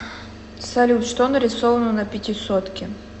салют что нарисовано на пятисотке